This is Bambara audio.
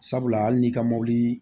Sabula hali n'i ka mɔbili